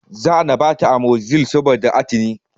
Za ana bata amozilin saboda atini